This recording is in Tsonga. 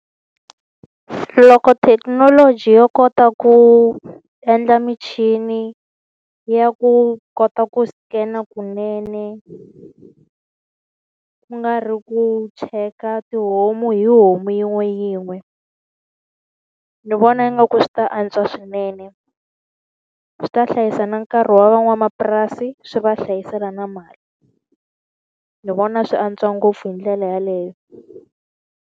Loko thekinoloji yo kota ku endla michini ya ku kota ku scan-a kunene, ku nga ri ku cheka tihomu hi homu yin'we yin'we. Ni vona ingaku swi ta antswa swinene. Swi ta hlayisa na nkarhi wa van'wamapurasi swi va hlayisela na mali. Ni vona swi antswa ngopfu hi ndlela yeleyo.